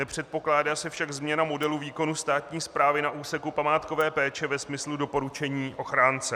Nepředpokládá se však změna modelu výkonu státní správy na úseku památkové péče ve smyslu doporučení ochránce.